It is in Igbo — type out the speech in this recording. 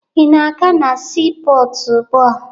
Ị na-aga na siipọọtụ ugbua?